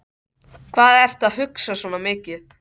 Hvað ertu að hugsa svona mikið?